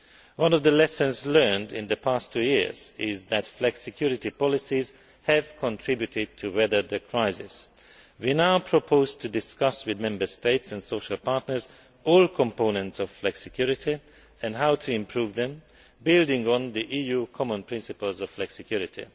One of the lessons learned in the past two years is that flexicurity policies have contributed to weathering the crisis. We now propose to discuss with Member States and social partners all components of flexicurity and how to improve them, building on the EU common principles of flexicurity.